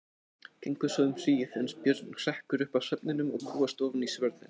Gengur svo um hríð, uns Björn hrekkur upp af svefninum og kúgast ofan í svörðinn.